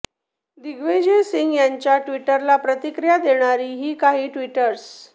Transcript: दिग्विजय सिंह यांच्या ट्विटला प्रतिक्रीया देणारी ही काही ट्विट्स